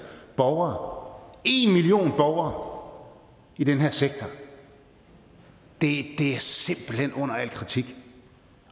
borgere én million borgere i den her sektor det er simpelt hen under al kritik